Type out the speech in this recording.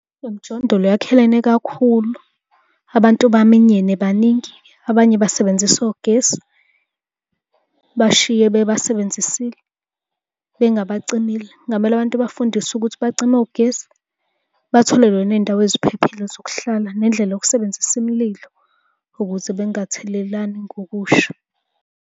Le mjondolo yakhelene kakhulu, abantu baminyene baningi. Abanye basebenzisa ogesi bashiye bebasebenzisile bengabacimile. Kungamele abantu bafundiswe ukuthi bacime ogesi, batholelwe ney'ndawo eziphephile zokuhlala nendlela yokusebenzisa imililo ukuze bengathelelani ngokusha.